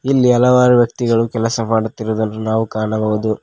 ಇಲ್ಲಿ ಹಲವಾರು ವ್ಯಕ್ತಿಗಳು ಕೆಲಸ ಮಾಡುತ್ತಿರುವುದನ್ನು ನಾವು ಕಾಣಬಹುದು.